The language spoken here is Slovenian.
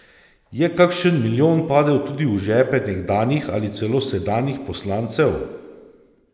Je kakšen milijon padel tudi v žepe nekdanjih ali celo sedanjih poslancev?